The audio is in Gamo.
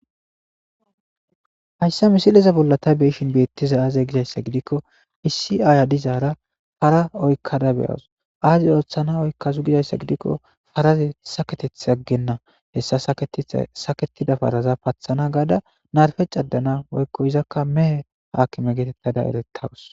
Hayisa misileza bolla ta beeishin beettiza aaze gizayssa gidikko iisi aaya dizaara para oykkada beyawus aaze ooththana oykkazu gizayssa gidikko paraze saketeth aggenna hessa saketida paraza pathana gaada narfe cadana woyiko izakka mehe haakime geetettada erettawus